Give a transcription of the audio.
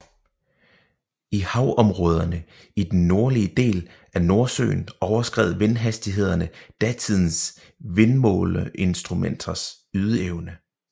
I havområderne i den nordlige del af Nordsøen overskred vindhastighederne datidens vindmåleinstrumenters ydeevne